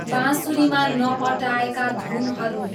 बाँसुरीमा नअटाएका धुनहरू